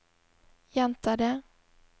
gjenta det